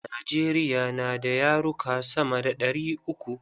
Najeriya na da yaruka sama da ɗari uku.